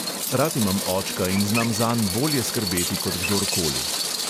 Rad imam očka in znam zanj bolje skrbeti kot kdor koli.